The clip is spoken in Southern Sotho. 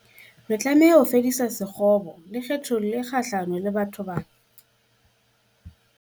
Re tlameha ho fedisa sekgobo le kgethollo e kgahlano le batho bana.